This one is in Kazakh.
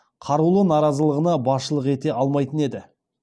қарулы наразылығына басшылық ете алмайтын еді